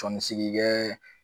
Tɔnisigi kɛ